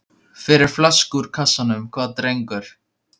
Fyrir flösku úr kassanum, hvað drengur?